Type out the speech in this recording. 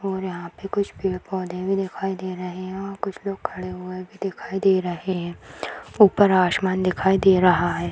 और यहाँ पे कुछ पेड़-पौधे भी दिखाई दे रहे हैं और कुछ लोग खड़े हुए भी दिखाई दे रहे हैं ऊपर आशमान दिखाई दे रहा है।